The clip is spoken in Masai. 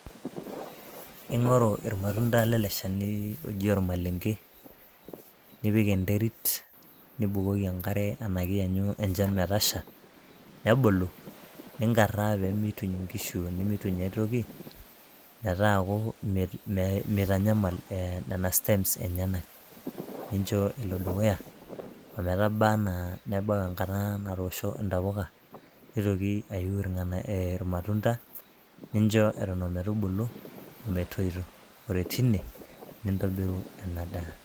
ing'oru irmatunda lele shani oji ormalenke, niik enterit, nibukoki enkare ash ianyu enchan metasha, nebulu. ninkaraa pee meituny inkishu nemeituny ake aitoki, metaaku meitanyamal nena stems enyenak. nincho elo dukuya ometaba anaa nebau enkata natoosho intapuka. nitoki aiu irmatunda. nincho eton ometubu ometoito ore tine nintobiru ena daa.